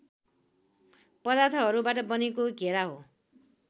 पदार्थहरूबाट बनेको घेरा हो